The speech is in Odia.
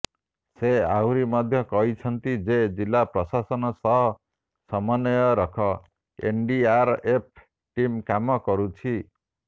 ସେ ଆହୁରି ମଧ୍ୟ କହିଛନ୍ତି ଯେ ଜିଲ୍ଲା ପ୍ରଶାସନ ସହ ସମନ୍ୱୟ ରଖ୍ ଏନଡିଆରଏଫ ଟିମ୍ କାମ କରୁଛି